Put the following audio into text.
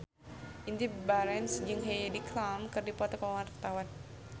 Indy Barens jeung Heidi Klum keur dipoto ku wartawan